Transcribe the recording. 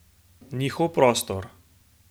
Njihov prostor!